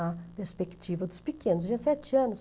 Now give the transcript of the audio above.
A perspectiva dos pequenos, tinha sete anos.